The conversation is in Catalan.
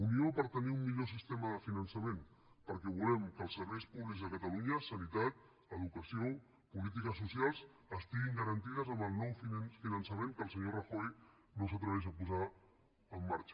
unió per tenir un millor sistema de finançament perquè volem que els serveis públics de catalunya sanitat educació polítiques socials estiguin garantits amb el nou finançament que el senyor rajoy no s’atreveix a posar en marxa